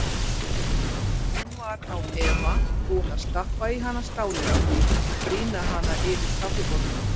Hún var án efa búin að stappa í hana stálinu og brýna hana yfir kaffibollunum.